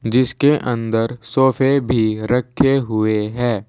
जिसके अंदर सोफे भी रखे हुए हैं।